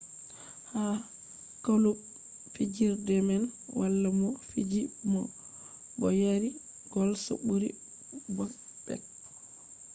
ha klub fijerde man wala mo fiji bo yari gols ɓuri bobek